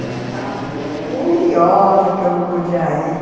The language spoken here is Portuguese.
Eu ficava furiosa que eu não podia ir.